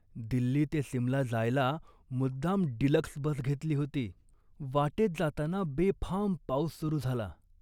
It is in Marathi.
दिल्ली ते सिमला जायला मुद्दाम 'डिलक्स' बस घेतली होती. वाटेत जाताना बेफाम पाऊस सुरू झाला